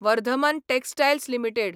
Vardhman textiles limited